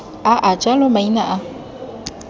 a a jalo maina a